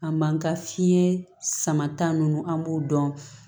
A man ka fiɲɛ sama ta ninnu an b'o dɔn